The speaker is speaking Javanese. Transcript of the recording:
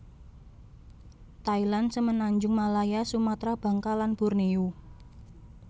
Thailand Semenanjung Malaya Sumatra Bangka lan Borneo